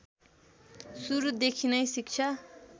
सुरुदेखि नै शिक्षा